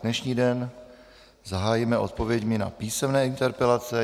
Dnešní den zahájíme odpověďmi na písemné interpelace.